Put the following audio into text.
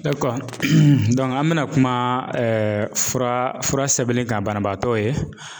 an bɛna kuma fura sɛbɛnni kan banabaatɔ ye